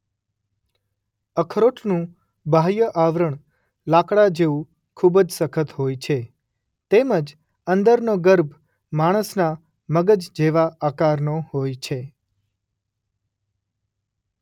અખરોટનું બાહ્ય આવરણ લાકડા જેવું ખૂબ જ સખત હોય છે તેમ જ અંદરનો ગર્ભ માણસના મગજ જેવા આકારનો હોય છે.